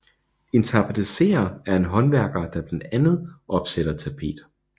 En tapetserer er en håndværker der blandt andet opsætter tapet